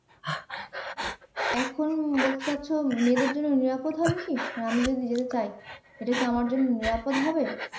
এখন বলতে চাচ্ছ মেয়েদের জন্য নিরাপদ হবে কি মানে আমি যদি যেতে চাই এটাকি আমার জন্য নিরাপদ হবে